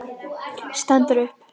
Stendur upp.